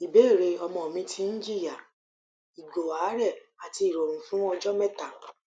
ìbéèrè ọmọ mi ti ń jìyà ìgò àárè àti ìròrùn fún ọjó méta